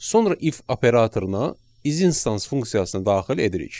Sonra if operatoruna isinstance funksiyasını daxil edirik.